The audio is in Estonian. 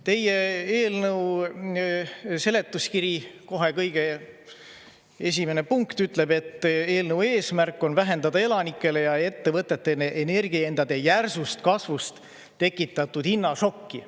Teie eelnõu seletuskirja kohe kõige esimene punkt ütleb, et eelnõu eesmärk on vähendada elanikele ja ettevõtetele energiahindade järsust kasvust tekitatud hinnašokki.